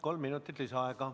Kolm minutit lisaaega.